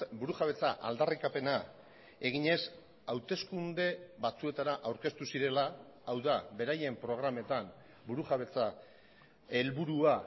burujabetza aldarrikapena eginez hauteskunde batzuetara aurkeztu zirela hau da beraien programetan burujabetza helburua